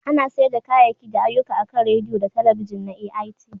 Ana sayar da kayayyaki da ayyuka akan Rediyo da talabijin na AIT